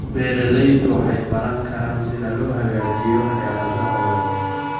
Beeraleydu waxay baran karaan sida loo hagaajiyo xeeladahooda.